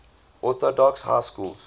orthodox high schools